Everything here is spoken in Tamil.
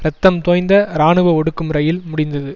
இரத்தம் தோய்ந்த இராணுவ ஒடுக்கு முறையில் முடிந்தது